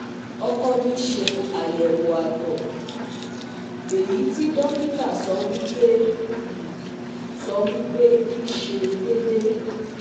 Oko mi se ayewo ato, eyi ti dokita sowi pe i sowipe i se dede